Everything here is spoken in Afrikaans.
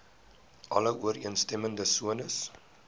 alle ooreenstemmende sones